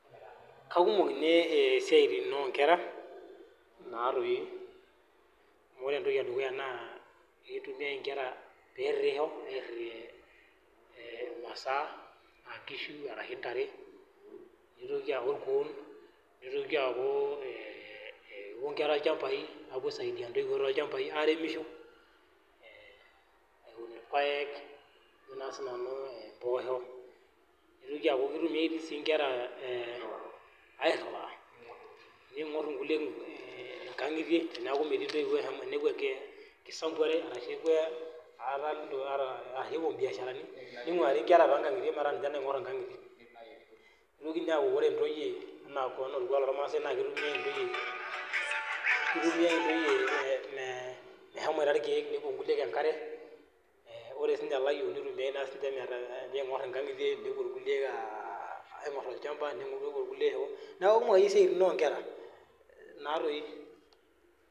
Kakumok esiatin oo nkera amu kitumiai enkera pee eritisho airita masa ena enkishu arashu ntare nitoki akuu irkuoo nitoki aku kepuo enkera ilchambai aisaidia ntoyiwuo awunisho awun irpaek mboshok nitoki aku kitumiai enkera airiwa ning'or enkulie enkangitie teneku metii entoyiwuo tenepuo biasharani ninguarie enkera too nkang'itie metaa ninche naingor enkangitie nitoki aku entoyie too orkuak loo irmaa kitumiai entoyie mehomo irkeek nepuo enkulie enkare ore sininche elayiok naitumiai meshomo shoo nepuo irkulie olchamba neeku kumok akeyie esiatin oo nkera